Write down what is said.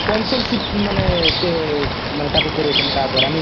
sponsorship ମାନେ ସେ ମାନେ ତାକୁ କରଉଛନ୍ତି ତା ଦ୍ଵାରା ନେଇ